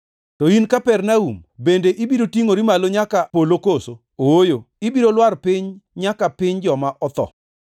To in Kapernaum bende ibiro tingʼori malo nyaka polo koso? Ooyo, ibiro lwar piny nyaka piny joma otho.